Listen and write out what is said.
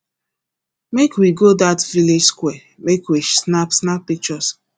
make we go that village square make we snap snap pictures